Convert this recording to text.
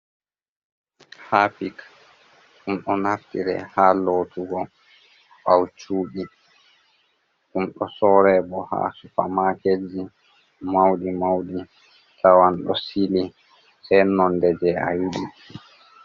Harpic, ɗum do naftire ha lotugo bawo chudi, dum do sore bo ha sufa maketji maudi maudi tawan do sili se nonde je a yidi.